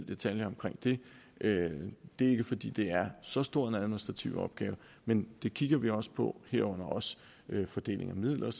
detaljer omkring det det er ikke fordi der er så stor en administrativ opgave men det kigger vi også på herunder også fordelingen af midler og